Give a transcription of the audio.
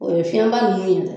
O ye fiɲɛba nunnu ye dɛ